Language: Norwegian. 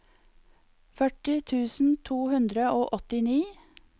førti tusen to hundre og åttini